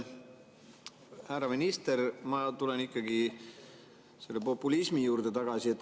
Härra minister, ma tulen ikkagi populismi juurde tagasi.